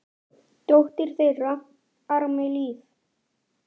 Dóttir þeirra: Ármey Líf.